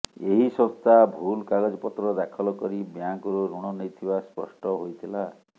ଏହି ସଂସ୍ଥା ଭୁଲ କାଗଜପତ୍ର ଦାଖଲ କରି ବ୍ୟାଙ୍କରୁ ଋଣ ନେଇଥିବା ସ୍ପଷ୍ଟ ହୋଇଥିଲା